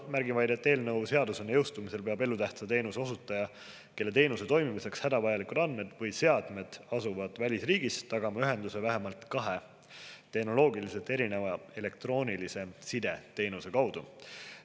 Märgin vaid, et eelnõu seadusena jõustumisel peab elutähtsa teenuse osutaja, kelle teenuse toimimiseks hädavajalikud andmed või seadmed asuvad välisriigis, tagama ühenduse vähemalt kahe tehnoloogiliselt erineva elektroonilise side teenuse kaudu.